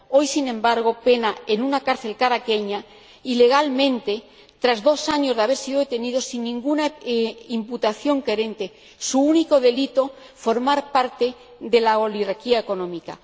Hoy, sin embargo, pena en una cárcel caraqueña ilegalmente, tras dos años de haber sido detenido sin ninguna imputación coherente. Su único delito ha sido formar parte de la oligarquía económica.